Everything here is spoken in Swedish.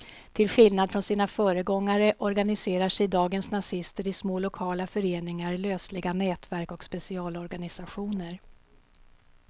Till skillnad från sina föregångare organiserar sig dagens nazister i små lokala föreningar, lösliga nätverk och specialorganisationer.